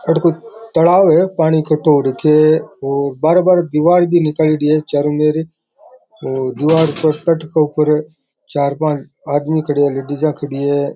तालाब है पानी इक्कठो हु रखयो है बाहर बाहर दीवार भी निकलेडी है चारों मेर तात के ऊपर चार पांच आदमी खड़े है लेडीजा खड़ी है।